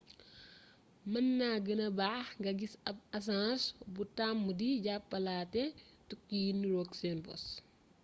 mën na gënna baax nga gis ab aseng bu tàmm di jàppalaate tukki yi niroog seen bos